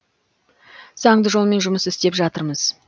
заңды жолмен жұмыс істеп жатырмыз